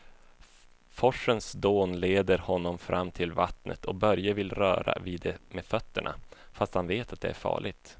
Forsens dån leder honom fram till vattnet och Börje vill röra vid det med fötterna, fast han vet att det är farligt.